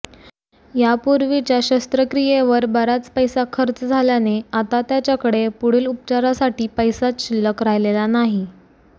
यापूर्वीच्या शस्त्रक्रियेवर बराच पैसा खर्च झाल्याने आता त्याच्याकडे पुढील उपचारासाठी पैसाच शिल्लक राहिलेला नाही